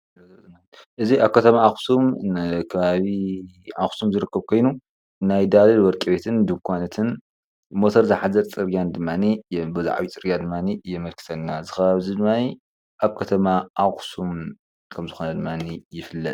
እዚ ኣብ ከተማ ኣኽሱም ከባቢ ኣኽሱም ዝርከብ ኮይኑ ናይ ዳሉል ወርቂ ቤትን ዱኳናትን ሞተር ዝሓዘት ፅርግያን ድማኒ በዚ ዓብይ ፅርግያ የመልክትና፣ እዚ ከባቢ ድማ ኣብ ከተማ ኣኽሱም ከም ዝኮነ ይፍለጥ::